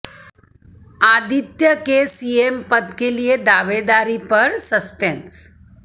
आदित्य के सीएम पद के लिए दावेदारी पर सस्पेंस